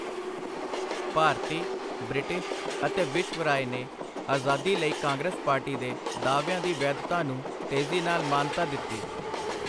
ਭਾਰਤੀ, British ਅਤੇ ਵਿਸ਼ਵ ਰਾਏ ਨੇ ਆਜ਼ਾਦੀ ਲਈ ਕਾਂਗਰਸ ਪਾਰਟੀ ਦੇ ਦਾਅਵਿਆਂ ਦੀ ਵੈਧਤਾ ਨੂੰ ਤੇਜ਼ੀ ਨਾਲ ਮਾਨਤਾ ਦਿੱਤੀ।